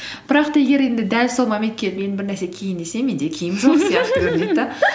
бірақ та егер енді дәл сол моментке менің бір нәрсе киейін десем менде киім жоқ